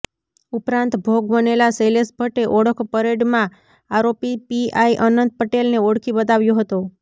ઉપરાંત ભોગ બનેલા શૈલેષ ભટ્ટે ઓળખ પરેડમાં આરોપી પીઆઈ અનંત પટેલને ઓળખી બતાવ્યો હતો